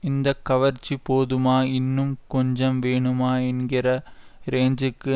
இந்த கவர்ச்சி போதுமா இன்னும் கொஞ்சம் வேணுமா என்கிற ரேஞ்சுக்கு